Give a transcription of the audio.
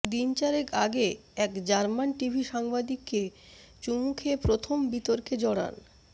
দিন চারেক আগে এক জার্মান টিভি সাংবাদিককে চুমু খেয়ে প্রথম বিতর্কে জড়ান